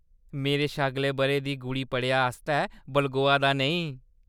मेरे शा अगले बʼरे दी गुड़ी पड़ेआ आस्तै बलगोआ दा नेईं।